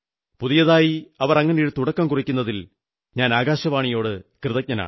പുതിയതായി അവർ അങ്ങനെയൊരു തുടക്കം കുറിക്കുന്നതിൽ ഞാൻ ആകാശവാണിയോട് കൃതജ്ഞനാണ്